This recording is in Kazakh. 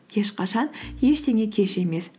ешқашан ештеңе кеш емес